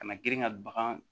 Kana girin ka bagan